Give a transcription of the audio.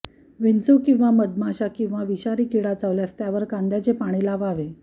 विंचू किंवा मधमाशा किंवा विषारी कीडा चावल्यास त्यावर कांद्याचे पाणी लावावे